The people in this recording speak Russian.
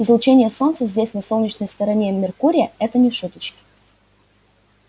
излучение солнца здесь на солнечной стороне меркурия это не шуточки